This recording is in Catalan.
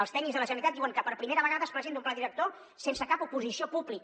els tècnics de la generalitat diuen que per primera vegada es presenta un pla director sense cap oposició pública